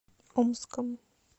омском